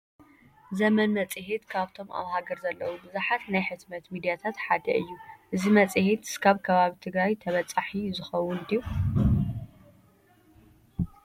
ዘመን መፅሔት ካብቶም ኣብ ሃገር ዘለዉ ብዙሓት ናይ ሕትመት ሚድያታት ሓደ እዩ፡፡ እዚ መፅሔት እስካብ ከባቢ ትግራይ ተበፃሒ ዝኸውን ድዩ?